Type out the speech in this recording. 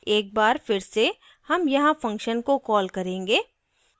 एक बार फिर से हम यहाँ function को कॉल करेंगे